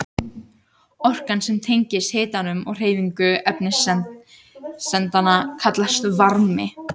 Orkan sem tengist hitanum og hreyfingu efniseindanna kallast varmi.